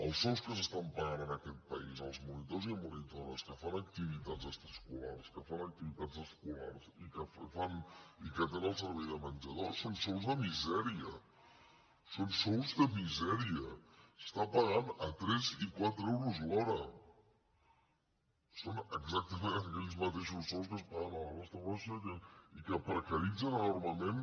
els sous que s’estan pagant en aquest país als monitors i monitores que fan activitats extraescolars que fan activitats escolars i que atenen el servei de menjador són sous de misèria són sous de misèria s’està pagant a tres i quatre euros l’hora són exactament aquells mateixos sous que es paguen a la restauració i que precaritzen enormement